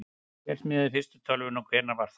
hver smíðaði fyrstu tölvuna og hvenær var það